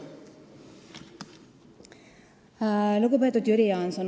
Lugupeetud Jüri Jaanson!